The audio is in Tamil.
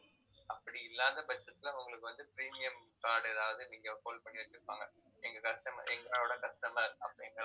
அப்படி இல்லாத பட்சத்துல உங்களுக்கு வந்து, premium card எதாவது நீங்க hold பண்ணி வச்சிருப்பாங்க எங்க customer எங்களோட customer அப்படிங்கிற